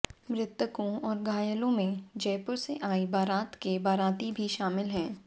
मृतकों और घायलों में जयपुर से आई बारात के बाराती भी शामिल हैं